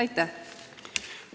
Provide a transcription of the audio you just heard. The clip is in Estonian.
Aitäh!